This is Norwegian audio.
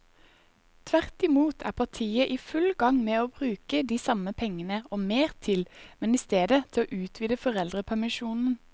Tvert imot er partiet i full gang med å bruke de samme pengene og mer til, men i stedet til å utvide foreldrepermisjonen.